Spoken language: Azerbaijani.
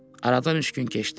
Aradan üç gün keçdi.